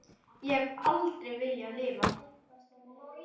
Ég hef alltaf viljað lifa.